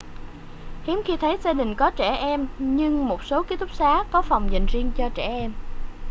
hiếm khi thấy gia đình có trẻ em nhưng một số ký túc xá có phòng dành riêng cho trẻ em